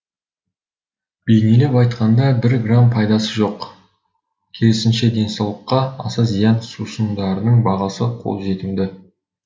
бейнелеп айтқанда бір грамм пайдасы жоқ керісінше денсаулыққа аса зиян сусындардың бағасы қолжетімді